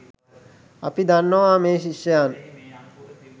අපි දන්නවා මේ ශිෂ්‍යයන්